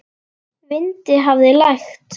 Vind hafði lægt.